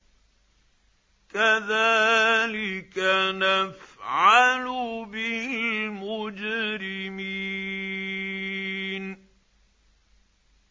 كَذَٰلِكَ نَفْعَلُ بِالْمُجْرِمِينَ